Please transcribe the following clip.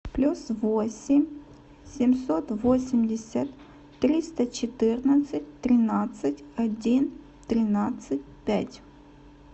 плюс восемь семьсот восемьдесят триста четырнадцать тринадцать один тринадцать пять